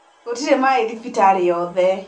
Gũtirĩmaĩthibitarĩyothe.